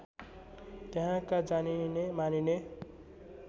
त्यहाँका जानिने मानिने